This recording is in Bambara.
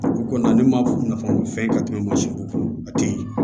O kɔni ne ma faamu fɛn ka tɛmɛ mansinw kan a te yen